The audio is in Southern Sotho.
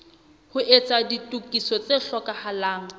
ho etsa ditokiso tse hlokahalang